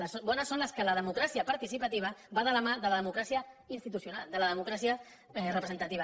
les bones són les que la democràcia participativa va de la mà de la democràcia institucional de la democràcia representativa